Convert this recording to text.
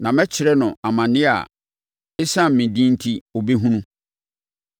Na mɛkyerɛ no amaneɛ a ɛsiane me din enti ɔbɛhunu.”